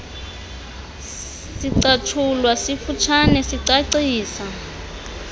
sicatshulwa sifutshane sicacisa